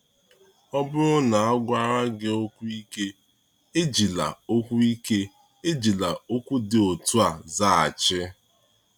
Ọ bụrụ na a gwara gị okwu ike, ejila okwu ike, ejila okwu dị otu a zaghachi.